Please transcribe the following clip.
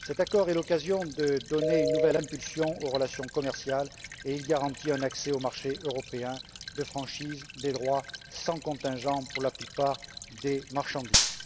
Cet accord est l'occasion de donner une nouvelle impulsion aux relations commerciales et il garantit un accès au marché européen de franchise des droits sans contingent pour la plupart des marchandises.